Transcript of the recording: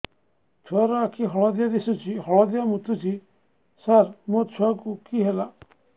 ଛୁଆ ର ଆଖି ହଳଦିଆ ଦିଶୁଛି ହଳଦିଆ ମୁତୁଛି ସାର ମୋ ଛୁଆକୁ କି ହେଲା